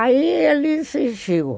Aí ele insistiu.